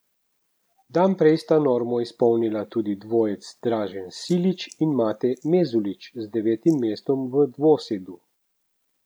Dan prej sta normo izpolnila dudi dvojec Dražen Silić in Mate Mezulić z devetim mestom v dvosedu.